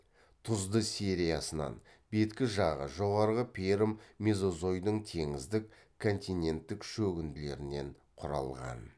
тұзды сериясынан беткі жағы жоғарғы пермь мезозойдың теңіздік континенттік шөгінділерінен құралған